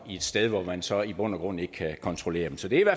et sted hvor man så i bund og grund ikke kan kontrollere dem så det er